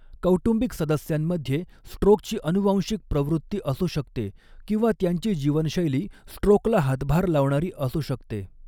कौटुंबिक सदस्यांमध्ये स्ट्रोकची अनुवांशिक प्रवृत्ती असू शकते किंवा त्यांची जीवनशैली स्ट्रोकला हातभार लावणारी असू शकते.